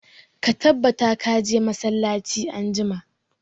Ka tabbata ka je masallaci anjima!